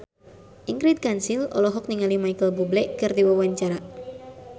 Ingrid Kansil olohok ningali Micheal Bubble keur diwawancara